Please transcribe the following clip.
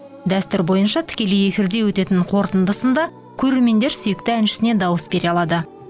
дәстүр бойынша тікелей эфирде өтетін қорытынды сында көрермендер сүйікті әншісіне дауыс бере алады